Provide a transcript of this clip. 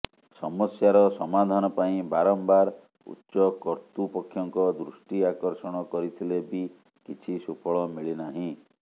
ସମସ୍ୟାର ସମାଧାନ ପାଇଁ ବାରମ୍ବାର ଉଚ୍ଚ କର୍ତ୍ତୃପକ୍ଷଙ୍କ ଦୃଷ୍ଟି ଆକର୍ଷଣ କରିଥିଲେ ବି କିଛି ସୁଫଳ ମିଳି ନାହିଁ